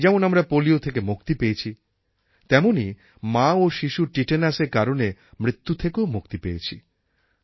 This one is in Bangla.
যেমন আমরা পোলিও থেকে মুক্তি পেয়েছি তেমনই মা ও শিশুর টিটেনাসের কারণে মৃত্যু থেকেও মুক্তি পেয়েছি